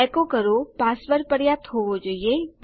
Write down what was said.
એકો કરો પાસવર્ડ પર્યાપ્ત હોવો જોઈએ